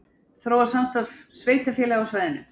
Þróa samstarf sveitarfélaga á svæðinu